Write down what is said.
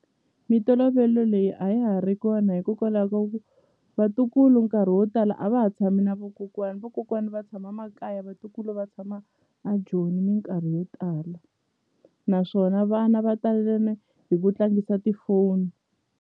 Mintolovelo leyi a ya ha ri kona hikokwalaho ka ku vatukulu nkarhi wo tala a va ha tshami na vokokwani, vokokwani va tshama makaya vatukulu va tshama a Joni minkarhi yo tala naswona vana va hi ku tlangisa tifoni.